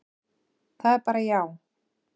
Það er bara já.